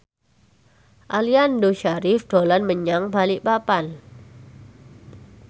Aliando Syarif dolan menyang Balikpapan